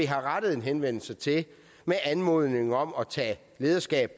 har rettet en henvendelse til med anmodning om at tage lederskab